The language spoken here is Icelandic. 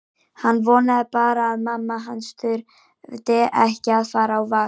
Hann vonaði bara að mamma hans þyrfti ekki að fara á vakt.